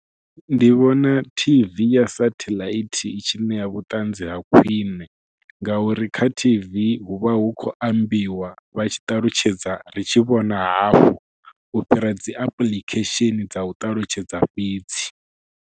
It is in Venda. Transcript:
Ndi vhona T_V ya sathelaithi i tshi ṋea vhuṱanzi ha khwine ngauri kha T_V hu vha hu khou ambiwa vha tshi ṱalutshedza, ri tshi vhona hafhu u fhira dzi apuḽikhesheni dza u ṱalutshedza fhedzi.